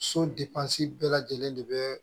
So bɛɛ lajɛlen de bɛ